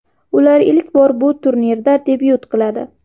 Ular ilk bor bu turnirda debyut qiladi.